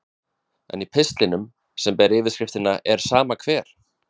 En í pistlinum, sem ber yfirskriftina Er sama hver?